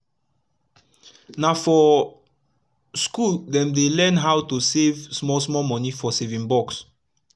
na for school dem dey learn how to how to save small small moni for saving box